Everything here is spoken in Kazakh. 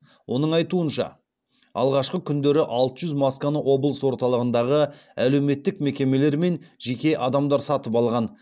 оның айтуынша алғашқы күндері алты жүз масканы облыс орталығындағы әлеуметтік мекемелер мен жеке адамдар сатып алған